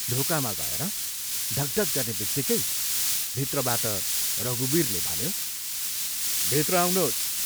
ढोकामा गएर ढकढक गर्नेबित्तिकै भित्रबाट रघुवीरले भन्यो, "भित्र आउनोस्।